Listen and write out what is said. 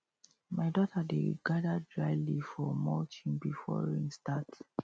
my daughter dey gather dry leaf for mulching before rain start